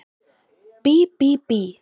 Bí bí bí!